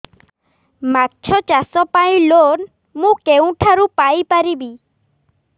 ମାଛ ଚାଷ ପାଇଁ ଲୋନ୍ ମୁଁ କେଉଁଠାରୁ ପାଇପାରିବି